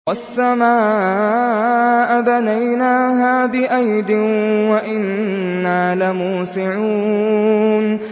وَالسَّمَاءَ بَنَيْنَاهَا بِأَيْدٍ وَإِنَّا لَمُوسِعُونَ